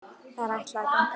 Þær ætla að ganga heim.